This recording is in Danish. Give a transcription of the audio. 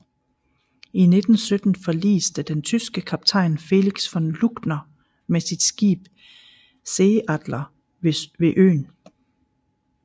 I 1917 forliste den tyske kaptajn Felix von Luckner med sit skib Seeadler ved øen